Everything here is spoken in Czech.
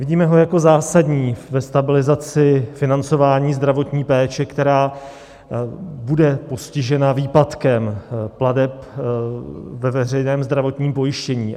Vidíme ho jako zásadní ve stabilizaci financování zdravotní péče, která bude postižena výpadkem plateb ve veřejném zdravotním pojištění.